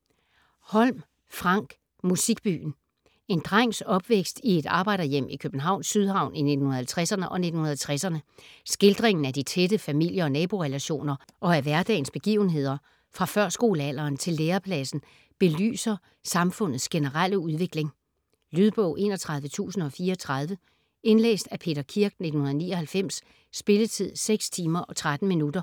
Holm, Frank: Musikbyen En drengs opvækst i et arbejderhjem i Københavns Sydhavn i 1950'erne og 1960'erne. Skildringen af de tætte familie- og naborelationer og af hverdagens begivenheder fra førskolealderen til lærepladsen belyser samfundets generelle udvikling. Lydbog 31034 Indlæst af Peter Kirk, 1999. Spilletid: 6 timer, 13 minutter.